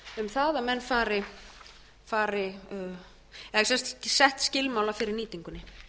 það að menn fari eða sett skilmála fyrir nýtingunni